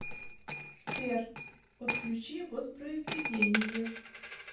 сбер отключи воспроизведение